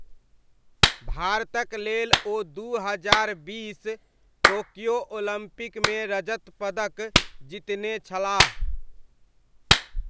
भारतक लेल ओ दू हजार बीस टोक्यो ओलम्पिकमे रजत पदक जितने छलाह।